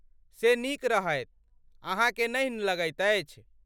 से नीक रहैत, अहाँकेँ नहि लगैत अछि?